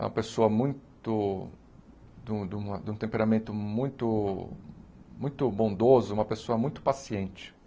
É uma pessoa muito... De um de um de um temperamento muito muito bondoso, uma pessoa muito paciente.